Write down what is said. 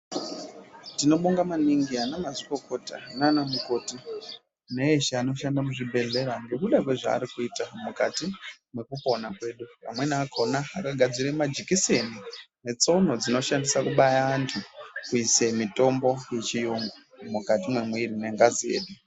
Tinobonga maningi anamazvikokota nanamukoti neeshe anoshanda muzvibhedhlera ngekuda kwezvaari kuita mwukati mwekupona kwedu. Vamweni akona akagadzire majikiseni netsono dzinoshandisa kubaya antu kuise mitombo yechiyungu mwukati mwemuiri mengazi yedu.